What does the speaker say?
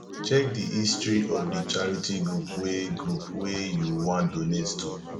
check di history of di charity group wey group wey you wan donate to